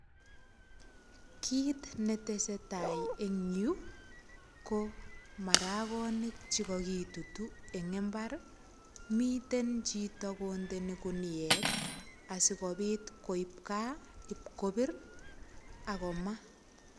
Kit netese tai eng yu ko maragonik che kagitutu eng imbar ii. Miten chito kondeni guniet asigopit koip kaa ipkopir ak koma.